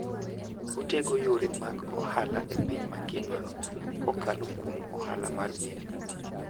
Otego yore mag ohala e piny mangima kokalo kuom ohala mag meli.